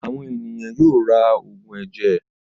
Àwọn ènìyàn yóò ra òògùn ẹ̀jẹ̀.